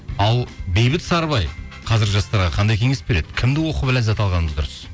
ал бейбіт сарыбай қазіргі жастарға қандай кеңес береді кімді оқып ләззат алғанымыз дұрыс